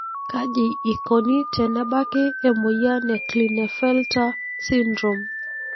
kaji ikoni tenebaki emoyian e Klinefelter syndrome?